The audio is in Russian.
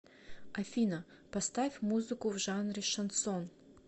афина поставь музыку в жанре шансон